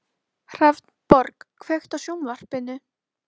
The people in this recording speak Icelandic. Hrafnborg, kveiktu á sjónvarpinu.